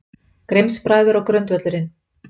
Grimms-bræður og grundvöllurinn